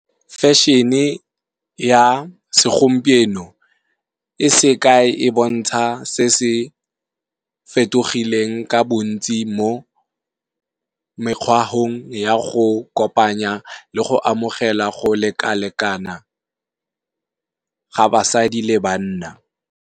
Fashion-e ya se gompieno e se kae, e bontsha se se fetogileng ka bontsi mo mekgwahong ya go kopanya le go amogela go leka-lekana ga basadi le banna.